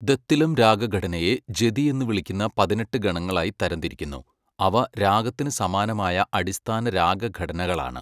ദത്തിലം രാഗഘടനയെ ജതി എന്ന് വിളിക്കുന്ന പതിനെട്ട് ഗണങ്ങളായി തരംതിരിക്കുന്നു, അവ രാഗത്തിന് സമാനമായ അടിസ്ഥാന രാഗ ഘടനകളാണ്.